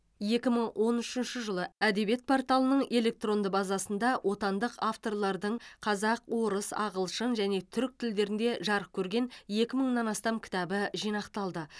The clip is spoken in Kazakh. екі мың он үшінші жылы әдебиет порталының электронды базасында отандық авторлардың қазақ орыс ағылшын және түрік тілдерінде жарық көрген екі мыңнан астам кітабы жинақталды